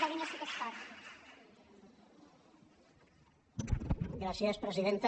gràcies presidenta